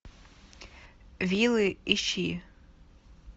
вилы ищи